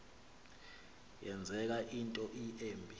yenzeka into embi